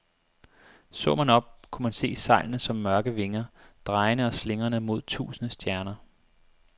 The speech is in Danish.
Så man op, kunne man se sejlene som mørke vinger, drejende og slingrende mod tusinde stjerner.